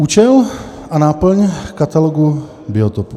Účel a náplň Katalogu biotopů.